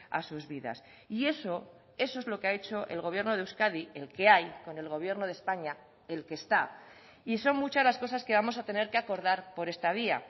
a sus vidas y eso eso es lo que ha hecho el gobierno de euskadi el que hay con el gobierno de españa el que está y son muchas las cosas que vamos a tener que acordar por esta vía